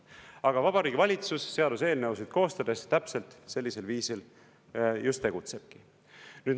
Aga Vabariigi Valitsus seaduseelnõusid koostades täpselt sellisel viisil just tegutsebki.